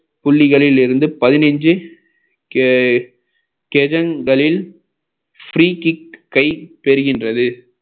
புள்ளிகளிலிருந்து பதினைந்து கே~ free kick கை பெறுகின்றது